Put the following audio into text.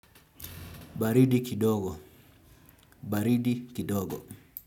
Baridi kidogo. Baridi kidogo.